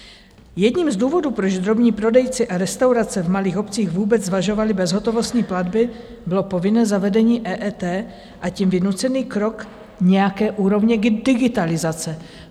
Jedním z důvodů, proč drobní prodejci a restaurace v malých obcích vůbec zvažovali bezhotovostní platby, bylo povinné zavedení EET, a tím vynucený krok nějaké úrovně digitalizace.